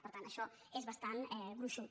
per tant això és bastant gruixut